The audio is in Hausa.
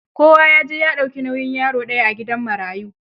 Kowa ya je ya dauki nauyin yaro ɗaya a gidan marayu.